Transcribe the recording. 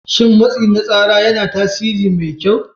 Shin matsi na tsara yana yin tasiri mai kyau.